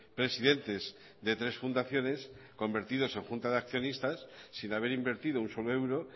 presidentes de tres fundaciones convertidos en junta de accionistas sin haber invertido un solo euro